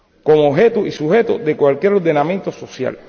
como objeto y sujeto de cualquier ordenamiento social.